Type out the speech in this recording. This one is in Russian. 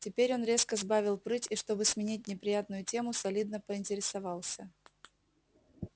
теперь он резко сбавил прыть и чтобы сменить неприятную тему солидно поинтересовался